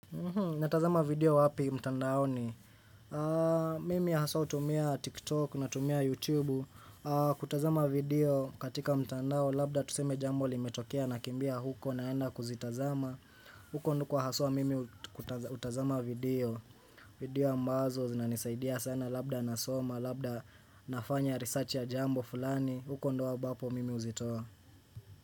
Natazama video wapi mtandaoni? Mimi haswa hutumia TikTok natumia YouTube kutazama video katika mtandao. Labda tuseme jambo limetokea nakimbia huko naenda kuzitazama huko nduko haswa mimi hutazama video. Video ambazo zinanisaidia sana labda nasoma, labda nafanya research ya jambo fulani, huko ndio ambapo mimi huzitoa.